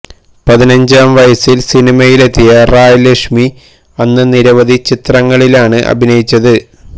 പതിനഞ്ചാം വയസിൽ സിനിമയിലെത്തിയ റായ് ലക്ഷ്മി അന്ന് നിരവധി ചിത്രങ്ങളിലാണ് അഭിനയിച്ചത്